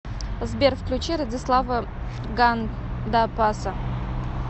сбер включи радислава гандапаса